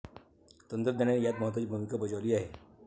तंत्रज्ञानाने यात महत्वाची भूमिका बजावली आहे.